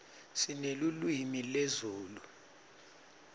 sinelulwimi lezulu